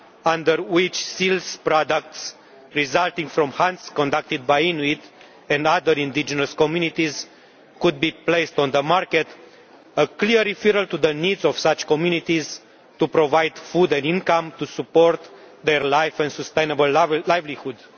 under which seal products resulting from hunts conducted by Inuit and other indigenous communities could be placed on the market a clear reference to the needs of such communities to provide food and income to support their life and a sustainable livelihood.